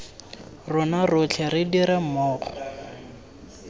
rona rotlhe re dire mmogo